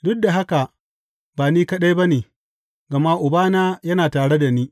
Duk da haka ba ni kaɗai ba ne, gama Ubana yana tare da ni.